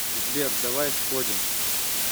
сбер давай сходим